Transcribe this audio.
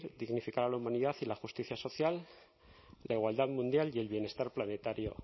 dignificar a la humanidad y la justicia social la igualdad mundial y el bienestar planetario